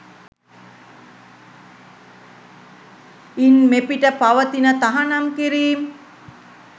ඉන් මෙපිට පවතින තහනම් කිරීම්